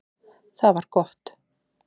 Það var gott